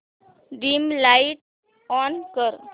dim light on कर